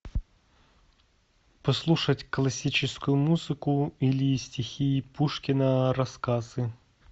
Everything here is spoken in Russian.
послушать классическую музыку или стихи пушкина рассказы